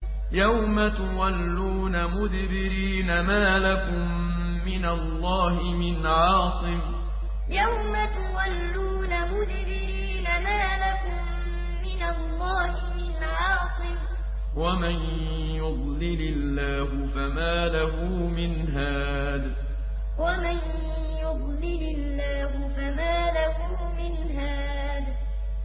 يَوْمَ تُوَلُّونَ مُدْبِرِينَ مَا لَكُم مِّنَ اللَّهِ مِنْ عَاصِمٍ ۗ وَمَن يُضْلِلِ اللَّهُ فَمَا لَهُ مِنْ هَادٍ يَوْمَ تُوَلُّونَ مُدْبِرِينَ مَا لَكُم مِّنَ اللَّهِ مِنْ عَاصِمٍ ۗ وَمَن يُضْلِلِ اللَّهُ فَمَا لَهُ مِنْ هَادٍ